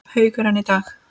Haukur: En í dag?